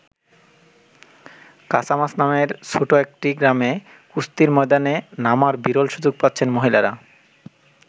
কাসামাস নামের এক ছোট গ্রামে কুস্তির ময়দানে নামার বিরল সুযোগ পাচ্ছেন মহিলারা।